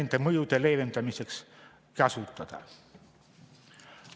… nende mõjude leevendamiseks kasutada?